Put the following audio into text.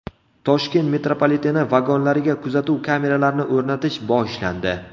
Toshkent metropoliteni vagonlariga kuzatuv kameralarini o‘rnatish boshlandi.